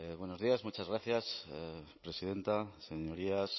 buenos días muchas gracias presidenta señorías